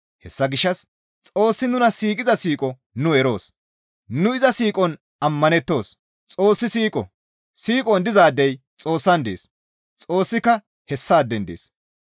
Hessa gishshas Xoossi nuna siiqiza siiqo nu eroos; nu iza siiqon ammanettoos; Xoossi siiqo; siiqon dizaadey Xoossan dees; Xoossika hessaaden dees.